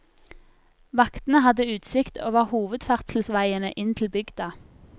Vaktene hadde utsikt over hovedferdselsveiene inn til bygda.